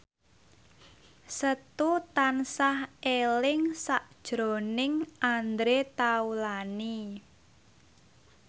Setu tansah eling sakjroning Andre Taulany